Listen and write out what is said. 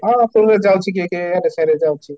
ହଁ ଯାଉଛି କିଏ କିଏ, ସିଆଡେ ଯାଉଛି